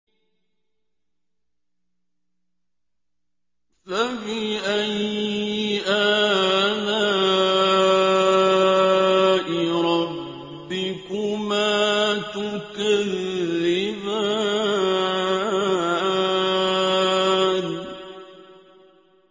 فَبِأَيِّ آلَاءِ رَبِّكُمَا تُكَذِّبَانِ